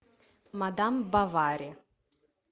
мадам бовари